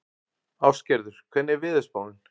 Ástgerður, hvernig er veðurspáin?